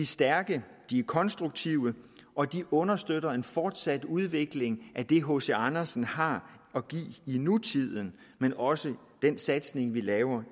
stærke de er konstruktive og de understøtter en fortsat udvikling af det hc andersen har at give i nutiden men også den satsning vi laver